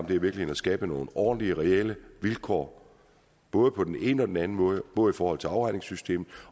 virkeligheden at skabe nogle ordentlige reelle vilkår både på den ene og den anden måde både i forhold til afregningssystemet